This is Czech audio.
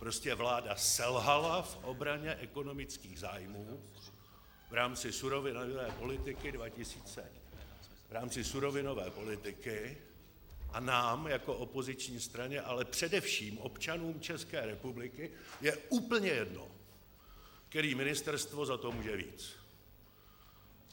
Prostě vláda selhala v obraně ekonomických zájmů v rámci surovinové politiky a nám jako opoziční straně, ale především občanům České republiky je úplně jedno, které ministerstvo za to může víc.